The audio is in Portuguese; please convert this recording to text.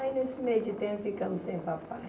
Aí nesse meio de tempo ficamos sem o papai.